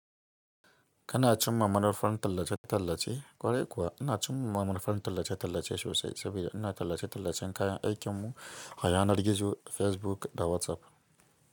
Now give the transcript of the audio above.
Kana cimma manufan tallace-tallace kwarai kuwa, ina a cumma manufan tallace-tallace sosai sabida ina tallace-tallacen kayan aikinku a yanar gizo Facebook da WhatsApp.